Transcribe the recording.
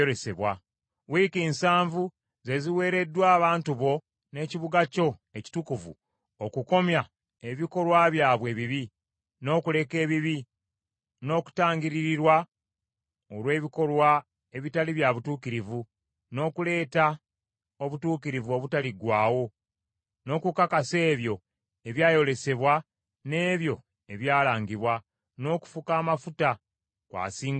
“Wiiki nsavu ze ziweereddwa abantu bo n’ekibuga kyo ekitukuvu okukomya ebikolwa byabwe ebibi, n’okuleka ebibi, n’okutangiririrwa olw’ebikolwa ebitali bya butuukirivu, n’okuleeta obutuukirivu obutaliggwaawo, n’okukakasa ebyo ebyayolesebwa n’ebyo ebyalangibwa, n’okufuka amafuta ku asinga obutukuvu.